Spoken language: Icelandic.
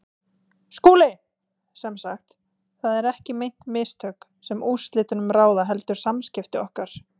SKÚLI: Sem sagt: það eru ekki meint mistök, sem úrslitum ráða, heldur samskipti okkar?